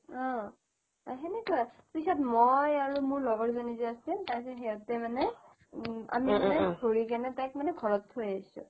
অহ সেনেকুৱাই পিছত মই আৰু মোৰ লগৰ জনী যে আছিল তাৰ পিছত সিহতে মানে আমি মানে ধৰি কিনে তাইক ঘৰত থৈ আহিছো